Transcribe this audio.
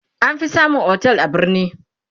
an fi samun otel a birni